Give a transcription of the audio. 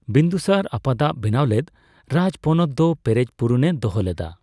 ᱵᱤᱱᱫᱩᱥᱟᱨ ᱟᱯᱛᱟᱜ ᱵᱮᱱᱟᱣ ᱞᱮᱫ ᱨᱟᱡᱽᱯᱚᱱᱚᱛ ᱫᱚ ᱯᱮᱨᱮᱡ ᱯᱩᱨᱩᱱᱮ ᱫᱚᱦᱚ ᱞᱮᱫᱟ ᱾